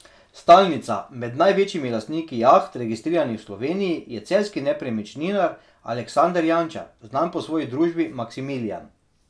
Stalnica med največjimi lastniki jaht, registriranih v Sloveniji, je celjski nepremičninar Aleksander Jančar, znan po svoji družbi Maksimilijan.